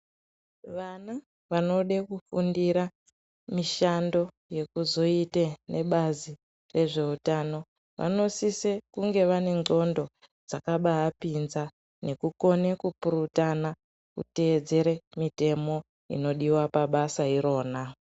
Vana vanode kufundira mishando yekuzoite nebazi yezveutano vanosise kunge vane ndxondo dzakabapinza nekukone kupurutana nekutedzera mitemo inodiwa pabasa irona.